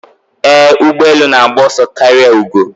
Ee, ụgbọ elu na-agba ọsọ karịa ugo.